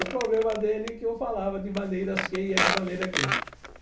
O problema dele é que eu falava de maneiras que e é de maneira que.